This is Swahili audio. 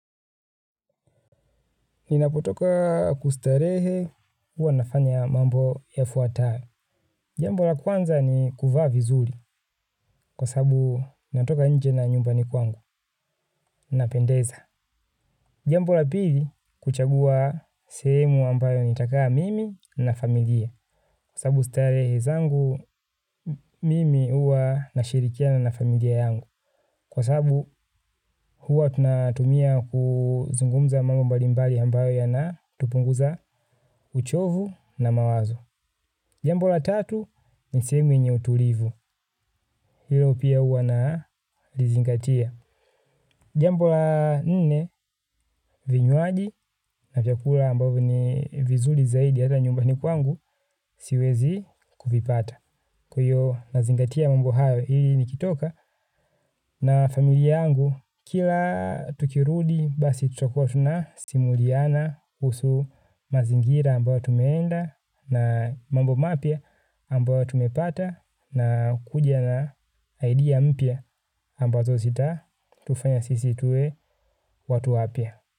Ninapotoka kustarehe huwa nafanya mambo yafuatayo. Jambo la kwanza ni kuvaa vizuri kwa sababu natoka nje na nyumbani kwangu napendeza. Jambo la pili kuchagua sehemu ambayo nitakaa mimi na familia. Kwa sababu starehe zangu mimi huwa nashirikiana familia yangu. Kwa sababu huwa tunatumia kuzungumza mambo mbalimbali ambayo yana tupunguza uchovu na mawazo. Jambo la tatu, ni sehemu yenye utulivu, hilo pia huwa nalizingatia. Jambo la nene, vinywaji, na vyakula ambavyo ni vizuri zaidi, hata nyumbani kwangu, siwezi kuvipata. Kwa hio, nazingatia mambo hayo, hili nikitoka, na familia yangu, kila tukirudi, basi tutakua tunasimuliana, kuhusu mazingira ambayo tumeenda, na mambo mapya ambayo tumepata na kuja na idea mpya ambazo zitatufanya sisi tuwe watu wapya.